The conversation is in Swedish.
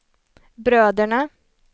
bröderna